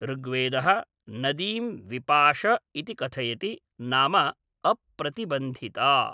ऋग्वेदः नदीं विपाश इति कथयति, नाम अप्रतिबन्धिता।